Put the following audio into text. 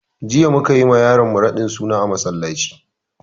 Jiya mukayi ma yaran mu raɗin suna a masallaci